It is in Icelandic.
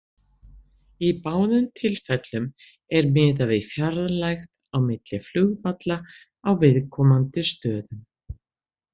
Í báðum tilfellum er miðað við fjarlægð á milli flugvalla á viðkomandi stöðum.